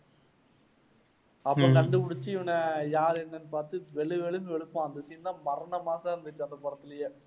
அப்புறம் கண்டுபிடிச்சு இவனை யாரு என்னென்னு பார்த்து வெளு வெளுன்னு வெளுப்பான் அந்த scene தான் மரண mass ஆ இருந்துச்சு அந்த படத்திலேயே